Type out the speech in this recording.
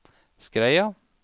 Skreia